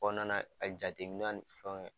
Kɔɔna na ka jateminaw ni fɛnw ŋɛ